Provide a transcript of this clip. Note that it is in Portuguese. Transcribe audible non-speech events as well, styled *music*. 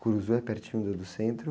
*unintelligible* é pertinho do, do centro?